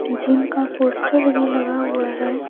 Gym का poster भी लगा हुआ है।